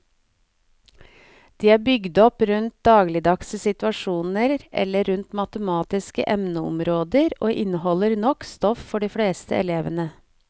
De er bygd opp rundt dagligdagse situasjoner eller rundt matematiske emneområder og inneholder nok stoff for de fleste elevene.